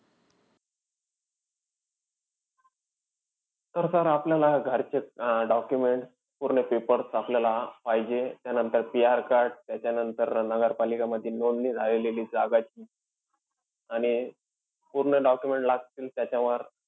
तर sir आपल्याला घरचे अं documents, पूर्ण papers आपल्याला पाहिजेत. त्यानंतर PR card, त्याच्यानंतर नगरपालिकांमध्ये नोंदणी झालेली जागा जी आहे, आणि पूर्ण documents लागतील त्याच्यावर.